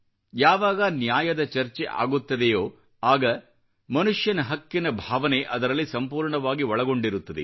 ಯಾವಾಗ ನ್ಯಾಯದ ಚರ್ಚೆ ಆಗುತ್ತದೆಯೋ ಆಗ ಮನುಷ್ಯನ ಹಕ್ಕಿನ ಭಾವನೆ ಅದರಲ್ಲಿ ಸಂಪೂರ್ಣವಾಗಿ ಒಳಗೊಂಡಿರುತ್ತದೆ